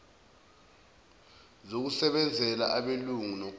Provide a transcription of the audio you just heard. zokusebenzela abelungu nokumba